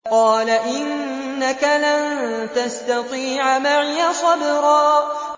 قَالَ إِنَّكَ لَن تَسْتَطِيعَ مَعِيَ صَبْرًا